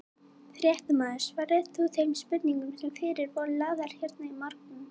Fréttamaður: Svaraðir þú þeim spurningum sem fyrir þig voru lagðar hérna í morgun?